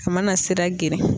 A mana sira geren.